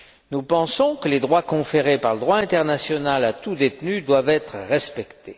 Nous pensons que les droits conférés par le droit international à tout détenu doivent être respectés.